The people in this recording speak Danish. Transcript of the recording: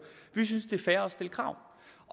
vi synes at det er fair at stille krav